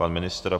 Pan ministr?